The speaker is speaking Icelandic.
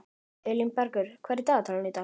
Elínbergur, hvað er í dagatalinu í dag?